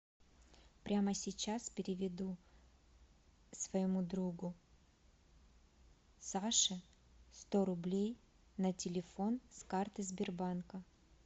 прямо сейчас переведу своему другу саше сто рублей на телефон с карты сбербанка